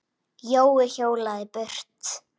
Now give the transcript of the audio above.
Jói hjólaði burt.